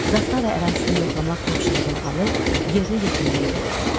Zastava ərazisini yoxlamaq tapşırığını alıb yerinə yetirməyə yollandılar.